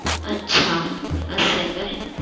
अच्छा! असा आहे काय?